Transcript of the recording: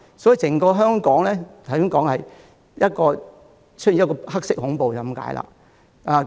所以，整個香港可說是出現了黑色恐怖。